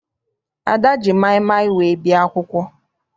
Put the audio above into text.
Ada ji maịmaị wee bịa akwụkwọ.